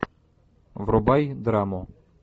врубай драму